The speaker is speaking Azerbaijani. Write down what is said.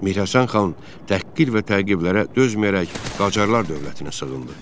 Mirhəsən xan təhqir və təqiblərə dözməyərək Qacarlar dövlətinə sığındı.